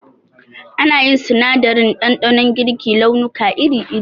Ana yin sinadarin ɗanɗanon girki launuka iri iri